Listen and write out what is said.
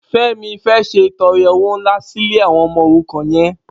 Femi fê ṣétọrẹ ówó nlá si ilé awọn ọmọ órúkàn yèn